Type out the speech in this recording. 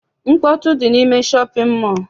Mkpọtụ dị n'ime shọpịn mọọ a.